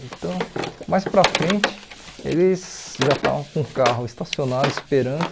Então, mais para frente, eles já estavam com o carro estacionado, esperando.